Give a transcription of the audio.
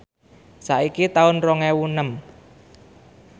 saiki taun rong ewu enem